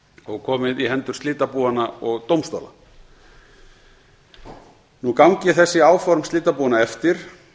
og komið í hendur slitabúanna og dómstóla gangi þessi áform slitabúanna eftir